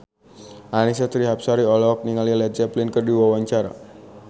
Annisa Trihapsari olohok ningali Led Zeppelin keur diwawancara